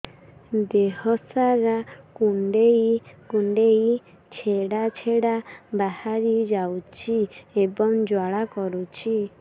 ଦେହ ସାରା କୁଣ୍ଡେଇ କୁଣ୍ଡେଇ ଛେଡ଼ା ଛେଡ଼ା ବାହାରି ଯାଉଛି ଏବଂ ଜ୍ୱାଳା କରୁଛି